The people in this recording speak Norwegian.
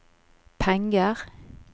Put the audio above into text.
penger